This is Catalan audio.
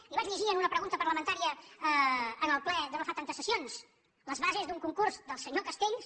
li ho vaig llegir en una pregunta parlamentària en el ple de no fa tantes sessions les bases d’un concurs del senyor castells